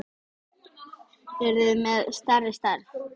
Eruð þið með stærri stærð?